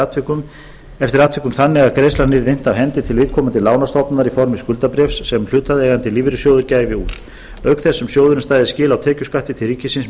atvikum þannig að greiðslan yrði innt af hendi til viðkomandi lánastofnunar í formi skuldabréfs sem hlutaðeigandi lífeyrissjóður gæfi út auk þess sem sjóðurinn stæði skil á tekjuskatti til ríkisins með